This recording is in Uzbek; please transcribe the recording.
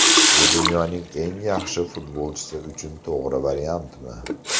Bu dunyoning eng yaxshi futbolchisi uchun to‘g‘ri variantmi?